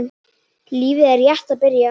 Lífið er rétt að byrja.